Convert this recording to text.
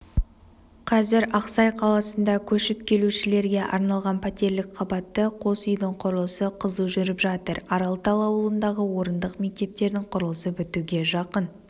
қазір ақсай қаласында көшіп келушілерге арналған пәтерлік қабатты қос үйдің құрылысы қызу жүріп жатыр аралтал ауылындағы орындық мектептің құрылысы бітуге жақын